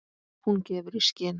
Hún gefur í skyn.